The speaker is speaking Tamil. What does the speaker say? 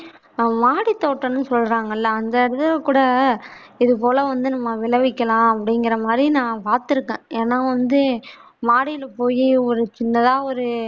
ஆஹ் வாடி தோட்டம்னு சொல்றங்கள்ல அங்கிருந்து கூட இது போல வந்து நம்ம விளவிக்கலாம் அப்பிடிங்றமாதி நான் பார்த்திருக்கேன் ஏனா வந்து மாடில போயி ஒரு சின்னதா ஒரு